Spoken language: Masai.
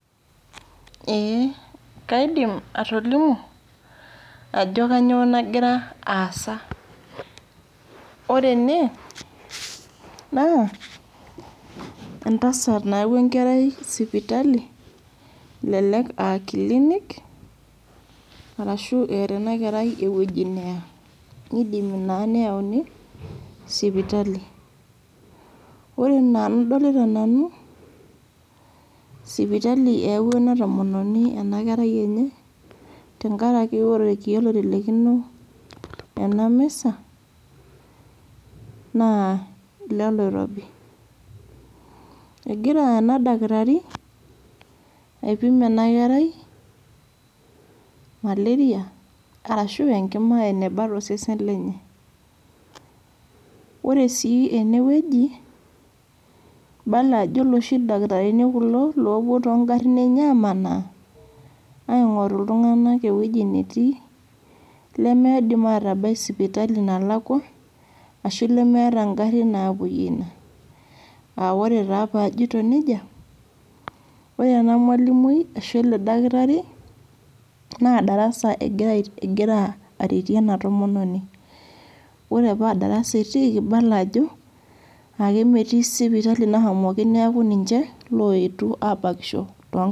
Eeh kaidim atolimu ajo kainyoo nakira aasa. Wore ene naa, entasat nayawua enkerai sipitali, elelek aa kilinik, arashu eeta enakerai ewoji neya. Nidimi naa neyauni sipitali. Wore enaa enidolita nanu, sipitali eyawua ena tomononi enakerai enye, tenkaraki wore irkiek oitelekino ena misa, naa iloloirobi. Ekira ena dakitari aipim ena kerai, malaria arashu enkima eneba tosesen lenye. Wore sii enewuoji, ibala ajo iloshi dakitarini kulo loopuo toonkarin enye aamanaa, aingorru iltunganak ewueji netii, limiidim aatabai sipitali nalakua, ashu lemeeta inkarrin naapoyie inie, aa wore taa paajito nejia, wore enamalimui ashu ele dakitari, naa darasa ekira aretie ena tomononi. Wore paa darasa etiiki ibala ajo, akemetii sipitali nashomoki neeku ninche loetuo aabakisho toonkangitie